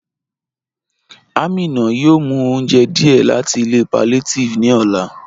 Aminà yóò mú ọ̀unjẹ́ díẹ̀ láti ilẹ̀ palliative ni ọlá."